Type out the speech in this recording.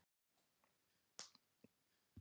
Amma sem var í kór.